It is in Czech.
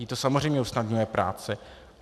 Jí to samozřejmě usnadňuje práci.